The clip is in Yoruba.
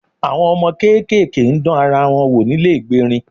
Àwọn ọmọ kéékèèké ń dán ara wò nílé ìgbérin